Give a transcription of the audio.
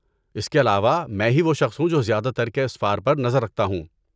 اس کے علاوہ، میں ہی وہ شخص جو زیادہ تر کے اسفار پر نظر رکھتا ہوں۔